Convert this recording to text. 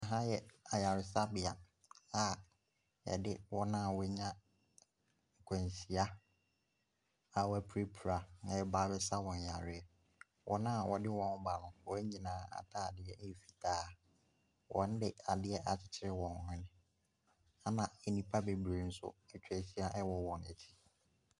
Aha yɛ ayaresabea a yɛde wɔn a w'anya akwanhyia a w'apirapira ɛreba abɛsa wɔn yareɛ. Wɔn a wɔde wɔn reba no, wɔn nyinaa ataadeɛ ɛyɛ fitaa. Wɔn de adeɛ akyekyere wɔn ano ɛna nnipa bebree nso atwa ahyia ɛwɔ wɔn akyi.